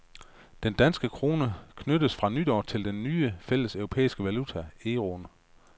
Den danske krone knyttes fra nytår til den nye fælles europæiske valuta, euroen.